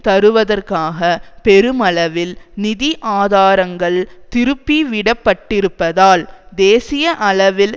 தருவதற்காக பெருமளவில் நிதி ஆதாரங்கள் திருப்பிவிடப்பட்டிருப்பதால் தேசிய அளவில்